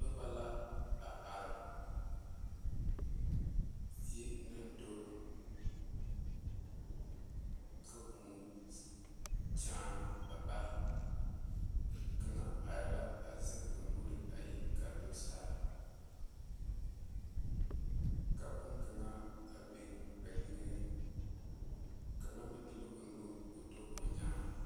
Noba yaga la yɛre pɔge zie ba mine tagra la ba woore ba mine de la ba woore mare ba puoriŋ ba mine meŋ taaɛ ba woore ba nuŋ ba mine meŋ te are tɔɔre lɛ ba kyaare la yikpoŋ kaŋa.